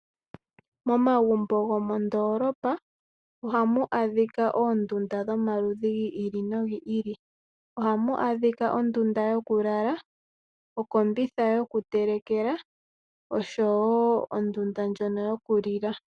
Momagumbo gomoondoolopa ohamu adhika oondunda dhomaludhi gi ili nogi ili. Ohamu adhika ondunda yokulala ,okombitha yo ku telekela oshowo ondunda ndjono yoku lila.